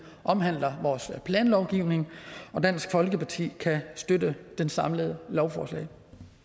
omhandler vores planlovgivning og dansk folkeparti kan støtte det samlede lovforslag